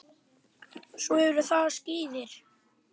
Svo eru það skíðin.